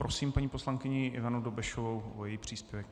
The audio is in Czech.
Prosím paní poslankyni Ivanu Dobešovou o její příspěvek.